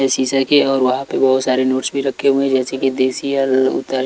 ये शीशे के है और वहां पे बहुत सारे नोट्स भी रखे हुए हैं जैसे की देसी अल उतर--